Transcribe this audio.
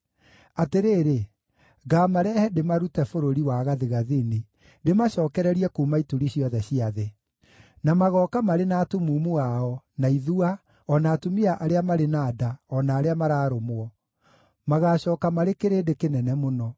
Atĩrĩrĩ, ngaamarehe, ndĩmarute bũrũri wa gathigathini, ndĩmacookererie kuuma ituri ciothe cia thĩ. Na magooka marĩ na atumumu ao, na ithua, o na atumia arĩa marĩ na nda, o na arĩa mararũmwo; magaacooka marĩ kĩrĩndĩ kĩnene mũno.